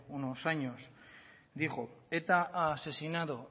unos años dijo eta ha asesinado